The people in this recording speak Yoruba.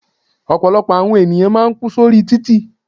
Ọ̀pọ̀lọpọ̀ àwọn ènìyàn máà ń kú sórí títì.